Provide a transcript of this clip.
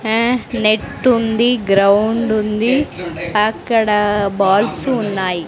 హ నెట్ ఉంది గ్రౌండ్ ఉంది అక్కడ బాల్స్ ఉన్నాయి.